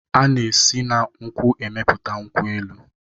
Ana esi na nkwu emepụta nkwu elu.